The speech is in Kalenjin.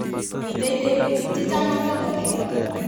Mitei tebutik che chang chetoom kewol